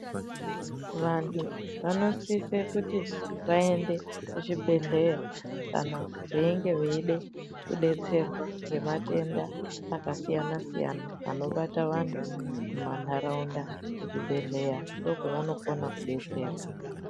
Vantu vanosise kuti vaende kuzvibhehleya kana veinge veide kudetserwa ngematenda akasiyana siyana anobata antu mumantaraunda kuchibhehleya ndokwavanokona kudetserwa.